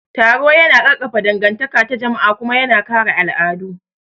Taro yana ƙarfafa dangantaka ta jama'a kuma yana kare al'adu.